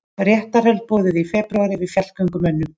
Réttarhöld boðuð í febrúar yfir fjallgöngumönnum